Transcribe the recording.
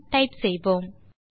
என டைப் செய்வோம்